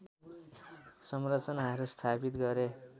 संरचनाहरू स्थापित गरे